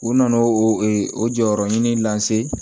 U nana o o jɔyɔrɔ ɲini lase